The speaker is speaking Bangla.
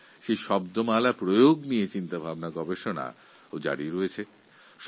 এই ধরনের শব্দ নিয়ে অনেক চিন্তাও করা হচ্ছে